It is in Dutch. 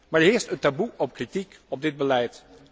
Maar er heerst een taboe op kritiek op dit beleid.